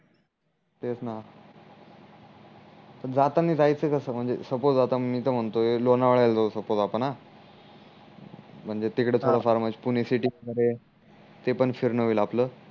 तेच ना पण जाताना जायच कस म्हणजे सपोज आता मी तर म्हणतोय लोणावड्या ल जाऊ सपोज आपण अं म्हणजे तिकडे थोड फार पुणे सिटि मध्ये ते पण फिरण होईल आपल